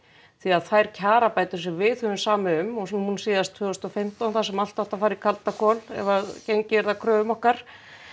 því þær kjarabætur sem við höfum samið um og nú síðast tvö þúsund og fimmtán þar sem allt átti að fara í kaldakol ef að gengið yrði að kröfum okkar